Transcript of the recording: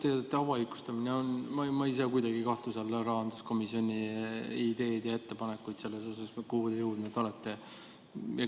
Hoiatusteadete avalikustamine – ma ei sea kuidagi kahtluse alla rahanduskomisjoni ideid ja ettepanekuid selles osas, kuhu te jõudnud olete.